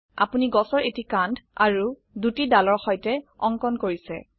আপোনি গাছৰ এটি কান্ড আৰু দুটি দালৰ সৈতে অঙ্কন কৰিছে